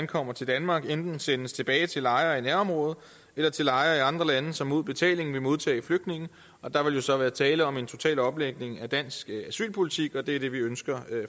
kommer til danmark enten sendes tilbage til lejre i nærområdet eller til lejre i andre lande som mod betaling vil modtage flygtninge og der vil så være tale om en total omlægning af dansk asylpolitik det er det vi ønsker